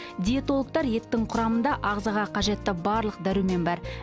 диетологтар еттің құрамында ағзаға қажетті барлық дәрумен бар